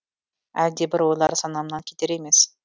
әлдебір ойлар санамнан кетер емес